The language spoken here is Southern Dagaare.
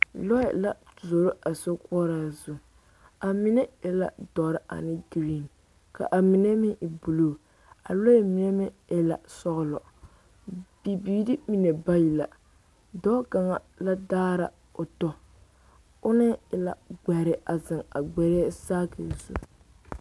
Lɔɛ la zoro a sokoɔraa zu a mine e la dɔre ane geree ka a mine meŋ e buluu a lɔɛ mine meŋ e la sɔgelɔ bibiiri mine bayi la dɔɔ kaŋa la daara o tɔ ona e la gbɛre a zeŋ a gbɛrɛɛ saakie zu